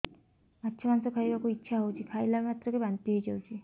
ମାଛ ମାଂସ ଖାଇ ବାକୁ ଇଚ୍ଛା ହଉଛି ଖାଇଲା ମାତ୍ରକେ ବାନ୍ତି ହେଇଯାଉଛି